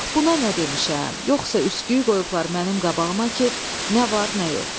Bax buna nə demişəm, yoxsa üsküyü qoyublar mənim qabağıma ki, nə var nə yox.